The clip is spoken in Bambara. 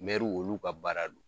Mɛriw olu ka baara do.